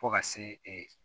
Fo ka se e